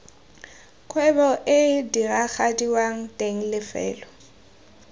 kgwebo ee diragadiwang teng lefelo